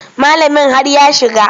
Malamin har ya shiga.